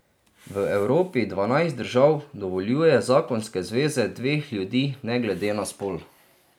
V Evropi dvanajst držav dovoljuje zakonske zveze dveh ljudi ne glede na spol.